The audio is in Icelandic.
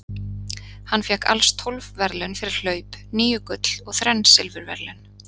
Hann fékk alls tólf verðlaun fyrir hlaup, níu gull og þrenn silfurverðlaun.